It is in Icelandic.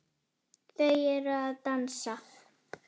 Það hýrnar yfir Klöru.